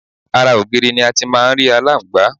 Ara ògiri ni a ti ń máà ń rí aláǹgbá